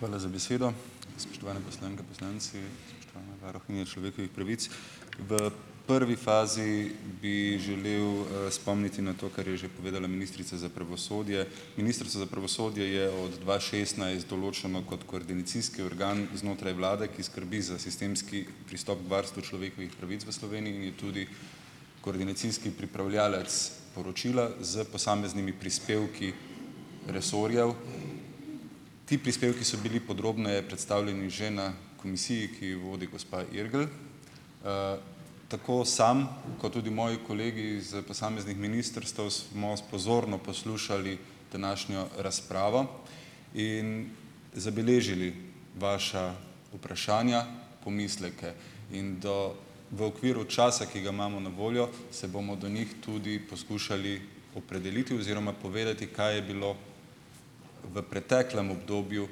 Hvala za besedo. Spoštovane poslanke in poslanci, spoštovana varuhinja človekovih pravic! V prvi fazi bi želel, spomniti na to, kar je že povedala ministrica za pravosodje. Ministrica za pravosodje je od dva šestnajst določena kot koordinacijski organ znotraj vlade, ki skrbi za sistemski pristop varstva človekovih pravic v Sloveniji tudi koordinacijski pripravljavec poročila s posameznimi prispevki resorjev. Ti prispevki so bili podrobneje predstavljeni že na komisiji, ki jo vodi gospa Irgl. Tako sam kot tudi moji kolegi iz posameznih ministrstev smo pozorno poslušali današnjo razpravo in zabeležili vaša vprašanja, pomisleke. In do v okviru časa, ki ga imamo na voljo se bomo do njih tudi poskušali opredeliti oziroma povedati, kaj je bilo v preteklem obdobju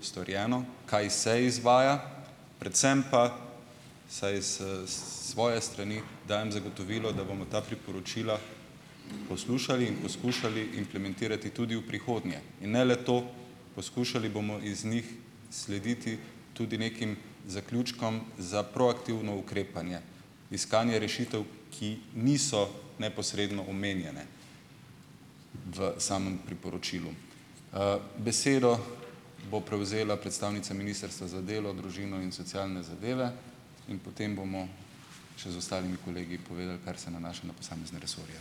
storjeno, kaj se izvaja predvsem pa vsaj s svoje strani dajem zagotovilo, da bomo ta priporočila poslušali in poskušali implementirati tudi v prihodnje. In ne le to, poskušali bomo iz njih slediti tudi nekim zaključkom za proaktivno ukrepanje, iskanje rešitev, ki niso neposredno omenjene v samem priporočilu. Besedo bo prevzela predstavnica Ministrstva za delo, družino in socialne zadeve in potem bomo še z ostalimi kolegi povedali, kar se nanaša na posamezne resorje.